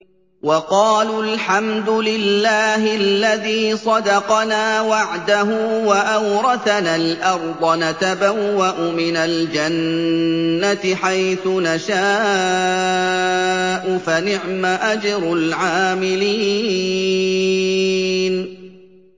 وَقَالُوا الْحَمْدُ لِلَّهِ الَّذِي صَدَقَنَا وَعْدَهُ وَأَوْرَثَنَا الْأَرْضَ نَتَبَوَّأُ مِنَ الْجَنَّةِ حَيْثُ نَشَاءُ ۖ فَنِعْمَ أَجْرُ الْعَامِلِينَ